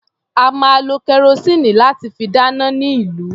A máa lo kẹrosíìnì láti fi dáná ní ìlú.